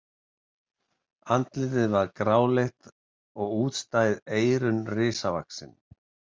Andlitið var gráleitt og útstæð eyrun risavaxin.